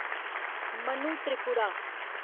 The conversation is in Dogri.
मनु त्रिपुरा